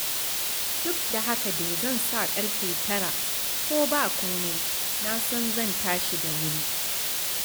Duk da haka dai, zan sa ƙarfe 9, ko ba komai na san zan tashi da wuri.